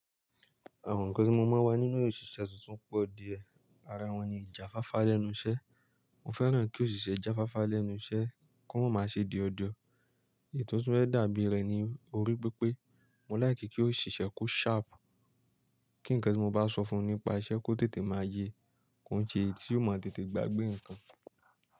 Àwọn nǹkan tí mo máa ń wá nínú òṣìṣẹ́ tuntun pọ̀ díẹ̀. Ara wọn ni ìjà fáfá lẹ́nu iṣẹ́. Mo fẹ́ràn kí òṣìṣẹ́ jà fáfá lẹ́nu iṣẹ́ kó máa ṣe dio dio. Èyí to tun fẹ́ẹ̀ dàbí rẹ̀ ni o rí pipe mo like kí òṣìṣẹ́ ko sharp. Kí nǹkan tí mo bá sọ fún nípa iṣẹ́ kó tètè máa ye. Kon ṣe èyí tí ò máa tètè gbàgbé nǹkan.